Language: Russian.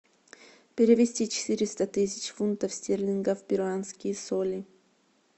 перевести четыреста тысяч фунтов стерлингов в перуанские соли